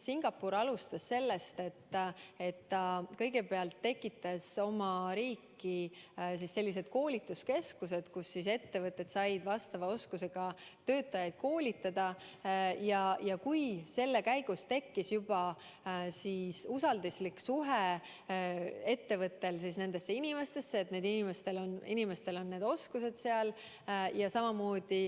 Singapur alustas sellest, et ta kõigepealt tekitas koolituskeskused, kus ettevõte sai vastava oskusega töötajaid koolitada, ja kui selle käigus tekkis ettevõttel juba usalduslik suhtumine nendesse inimestesse, et neil inimestel on need oskused olemas, ja samamoodi